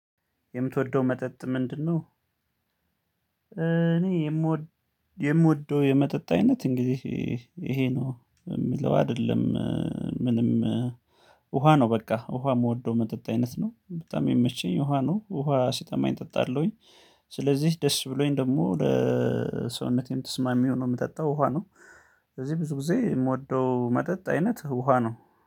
የምትወደው መጠጥ ምንድነው? እኔ የምወደው የምወደው የመጠጥ አይነት እንግዲህ ይሄ ነው የሚለው አይደለም። ምንም ውሃ ነው በቃ ውሃ የምወደው መጠጥ አይነት ነው በጣም የመቼኝ ውሃ ነው ውሃ ሲተማኝ እጠጣለሁኝ። ስለዚህ ደስ ብሎኝ ደግሞ ለሰውነቴም ትስማሚው ነው የምጠጣው ውሃ ነው። ስለዚህ ብዙ ጊዜ የምወደው መጠጥ አይነት ውሃ ነው